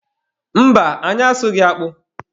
Mba, anyị asụghị akpụ.